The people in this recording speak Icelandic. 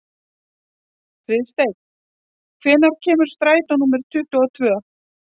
Friðsteinn, hvenær kemur strætó númer tuttugu og tvö?